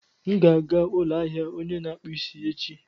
M ga-aga ụlọ ahịa onye na-akpụ isi echi.